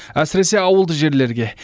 әсіресе ауылды жерлерге